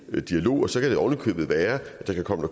dialog og så kan det oven i købet være at der kan komme